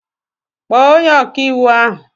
Kpọọ onye ọkàiwu ahụ!